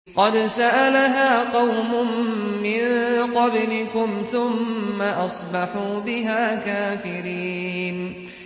قَدْ سَأَلَهَا قَوْمٌ مِّن قَبْلِكُمْ ثُمَّ أَصْبَحُوا بِهَا كَافِرِينَ